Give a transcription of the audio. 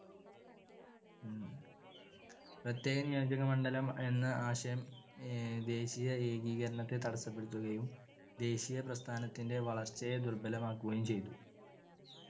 പ്രത്യേക നിയോജകമണ്ഡലമെന്ന ആശയം ദേശീയ ഏകീകരണത്തെ തടസ്സപ്പെടുത്തുകയും ദേശീയപ്രസ്ഥാനത്തിന്‍ടെ വളർച്ചയെ ദുർബലമാക്കുകയും ചെയ്തു.